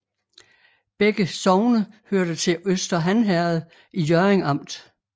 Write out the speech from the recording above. Begge sogne hørte til Øster Han Herred i Hjørring Amt